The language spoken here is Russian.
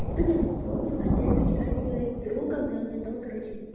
и тут я вспомнила что я же вчера виделась с другом и он мне дал короче